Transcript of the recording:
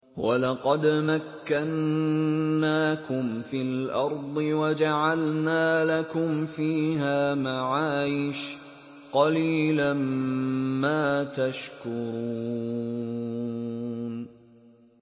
وَلَقَدْ مَكَّنَّاكُمْ فِي الْأَرْضِ وَجَعَلْنَا لَكُمْ فِيهَا مَعَايِشَ ۗ قَلِيلًا مَّا تَشْكُرُونَ